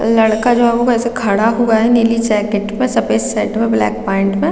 लड़का जो है वो ऐसे खड़ा हुआ है नीली जैकेट में सफ़ेद शर्ट में ब्लैक पैन्ट में --